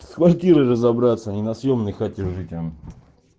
с квартирой разобраться не на съёмной хате жить а